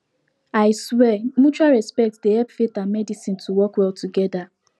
i swear mutual respect dey hep faith and medicine to work well togeda